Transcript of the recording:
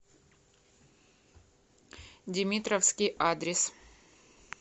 димитровский адрес